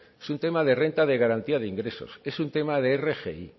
es un tema de renta de garantía de ingresos es un tema de rgi